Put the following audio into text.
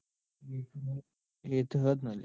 એતો હ જ ને લ્યા.